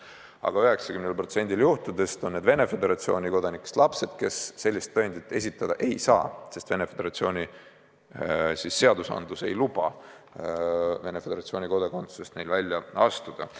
Aga 90%-l juhtudest on need Venemaa Föderatsiooni kodanikest lapsed, kes sellist tõendit esitada ei saa, sest Venemaa Föderatsiooni seadused ei luba neil Venemaa Föderatsiooni kodakondsusest välja astuda.